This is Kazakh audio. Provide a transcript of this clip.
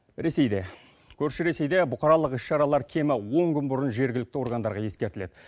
ресейде көрші ресейде бұқаралық іс шаралар кемі он күн бұрын жергілікті органдарға ескертіледі